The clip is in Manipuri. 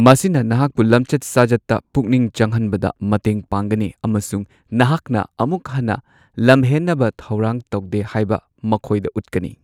ꯃꯁꯤꯅ ꯅꯍꯥꯛꯄꯨ ꯂꯝꯆꯠ ꯁꯥꯖꯠꯇ ꯄꯨꯛꯅꯤꯡ ꯆꯪꯍꯟꯕꯗ ꯃꯇꯦꯡ ꯄꯥꯡꯒꯅꯤ, ꯑꯃꯁꯨꯡ ꯅꯍꯥꯛꯅ ꯑꯃꯨꯛ ꯍꯟꯅ ꯂꯝꯍꯦꯟꯅꯕ ꯊꯧꯔꯥꯡ ꯇꯧꯗꯦ ꯍꯥꯏꯕ ꯃꯈꯣꯏꯗ ꯎꯠꯀꯅꯤ꯫